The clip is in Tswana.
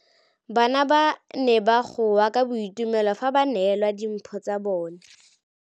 Bana ba ne ba goa ka boitumelo fa ba neelwa dimphô tsa bone.